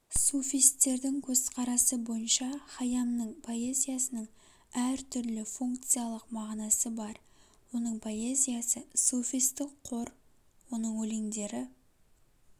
суфистердің көзқарасы бойынша хайамның поэзиясының әр түрлі функциялық мағынасы бар оның поэзиясы суфистік қор оның өлеңдері